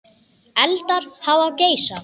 Eldar hafa geisað